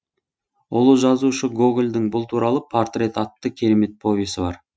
ұлы жазушы гогольдің бұл туралы портрет атты керемет повесі бар